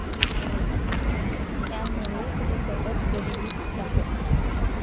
यांमुळे ते सतत गरिबीत राहत.